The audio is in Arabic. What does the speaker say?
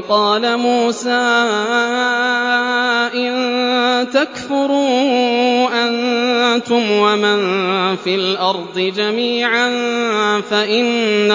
وَقَالَ مُوسَىٰ إِن تَكْفُرُوا أَنتُمْ وَمَن فِي الْأَرْضِ جَمِيعًا فَإِنَّ